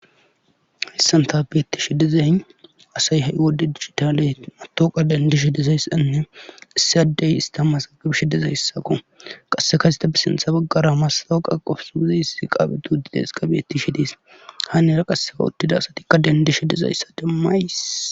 Hayssan tas beettishe dezay asay hay wodde digitale matooqa dendishe dizayssanne issiyadey ista masagabishi dezay hissaqo qasseka yseta bisintha baggara mastawuqa qofusuiziyiss qaabitu huddida heska beetti shi dees haaniera qasseka uttida asatikka dendishe dizayssa demmays.